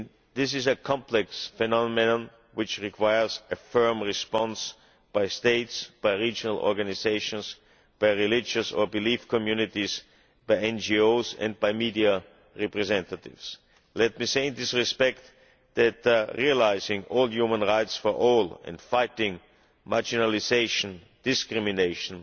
This is a complex phenomenon which requires a firm response by states, regional organisations, religious or belief communities, NGOs and by media representatives. Let me say in this respect that realising all human rights for all and fighting marginalisation, discrimination